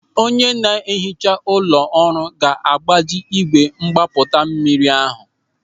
Onye ná-ehicha ụlọ ọrụ ga-agbaji ígwè mgbapụta mmiri ahụ.